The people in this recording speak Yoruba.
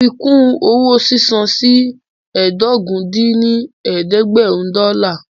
Fi kún owó sísan sí ẹ́ẹdógún dín ní ẹ̀ẹ́dẹ́gbẹ́rún dọ́là